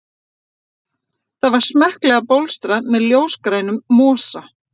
Það var smekklega bólstrað með ljósgrænum mosa.